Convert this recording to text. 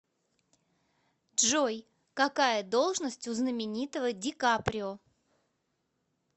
джой какая должность у знаменитого ди каприо